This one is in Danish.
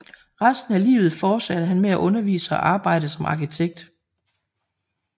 Resten af livet fortsatte han med at undervise og arbejde som arkitekt